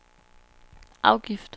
afgift